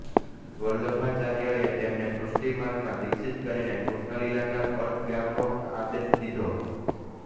વલ્લભાચાર્ય એ તેમને પુષ્ટિમાર્ગ માં દીક્ષિત કરીને કૃષ્ણલીલા ના પદ ગાવાનો આદેશ દીધો